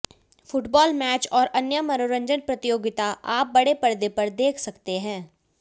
football match और अन्य मनोरंजन प्रतियोगिता आप बड़े परदे पर देख सकते हैं